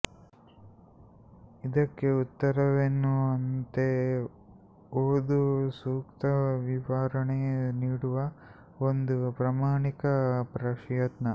ಇದಕ್ಕೆ ಉತ್ತರವೆನ್ನುವಂತೆ ಓದು ಸೂಕ್ತ ವಿವರಣೆ ನೀಡುವ ಒಂದು ಪ್ರಾಮಾಣಿಕ ಪ್ರಯತ್ನ